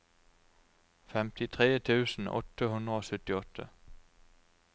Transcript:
femtitre tusen åtte hundre og syttiåtte